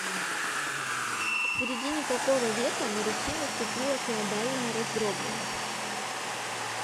к середине какого века на руси наступила феодальная раздробленность